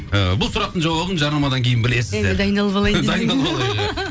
ііі бұл сұрақтың жауабын жарнамадан кейін білесіздер дайындалып алайын